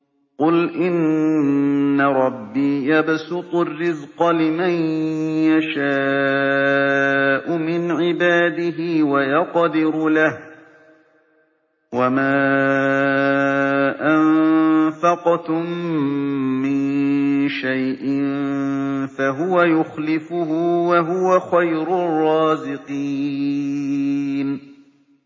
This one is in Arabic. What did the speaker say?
قُلْ إِنَّ رَبِّي يَبْسُطُ الرِّزْقَ لِمَن يَشَاءُ مِنْ عِبَادِهِ وَيَقْدِرُ لَهُ ۚ وَمَا أَنفَقْتُم مِّن شَيْءٍ فَهُوَ يُخْلِفُهُ ۖ وَهُوَ خَيْرُ الرَّازِقِينَ